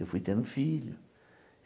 Eu fui tendo filho.